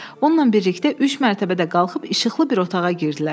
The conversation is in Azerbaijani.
Onunla birlikdə üç mərtəbə də qalxıb işıqlı bir otağa girdilər.